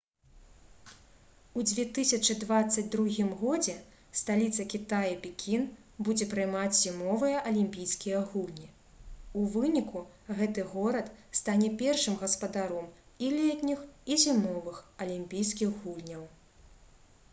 у 2022 годзе сталіца кітая пекін будзе прымаць зімовыя алімпійскія гульні у выніку гэты горад стане першым гаспадаром і летніх і зімовых алімпійскіх гульняў